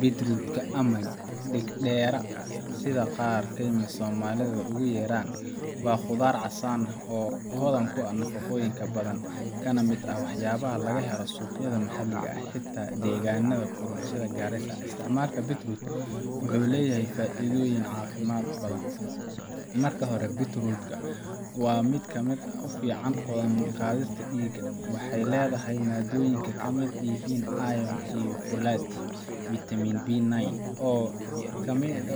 Beetroot ka ama deg dera sitha qar somalidha ee ogu yeran, waa qudhar casan oo hodhan ku ah cafaqoyinka badan kana miid ah wax yabaha badan oo laga helo suqayaada maxaliga eh xita deganada kulul sitha garissa, isticmalka Beetroot marka uhorawa Beetroot kamiid qadhista diga, waxee ledhahay madoyinka kamiid yihin iron filet iyo vitamin B 9